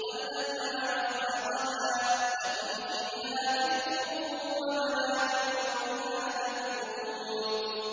وَالْأَنْعَامَ خَلَقَهَا ۗ لَكُمْ فِيهَا دِفْءٌ وَمَنَافِعُ وَمِنْهَا تَأْكُلُونَ